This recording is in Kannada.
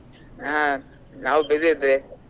ಹಾ ನಾವು busy ಇದ್ವಿ.